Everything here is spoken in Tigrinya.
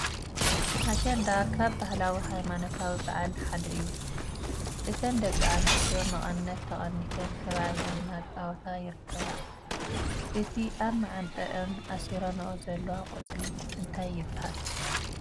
ኣሸንዳ ካብ ባህላዊን ሃይማኖታዊ በዓል ሓደ እዩ ። እቲን ደቂ ኣንስትዮ መቀነት ተቀኒተን ከቢበን እናተፃወታ ይርከባ ። እቲ ኣብ መዓንጠአን ኣሲሮንዖ ዘለዋ ቆፅሊ እንታይ ይባሃል ?